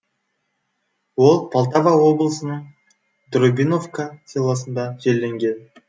ол полтава облысының дробиновка селосында жерленген